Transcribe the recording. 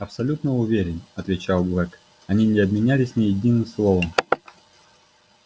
абсолютно уверен отвечал блэк они не обменялись ни единым словом